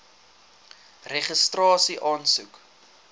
registrasieaansoek